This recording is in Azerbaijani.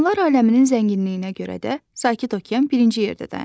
Canlılar aləminin zənginliyinə görə də Sakit okean birinci yerdə dayanır.